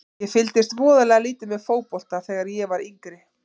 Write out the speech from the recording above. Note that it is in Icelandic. Ég fylgdist voðalega lítið með fótbolta þegar ég var yngri.